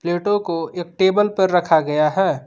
प्लेटों को एक टेबल पर रखा गया है।